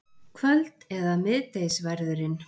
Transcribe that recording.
Kvöld- eða miðdegisverðurinn.